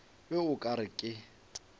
be o ka re ke